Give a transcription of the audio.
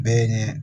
Bɛɛ ye ɲɛ